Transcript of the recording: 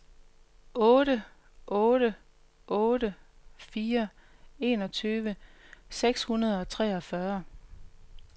otte otte otte fire enogtyve seks hundrede og treogfyrre